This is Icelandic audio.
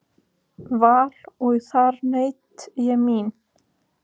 Val og þar naut ég mín.